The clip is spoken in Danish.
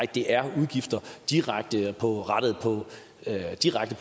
det er udgifter direkte rettet mod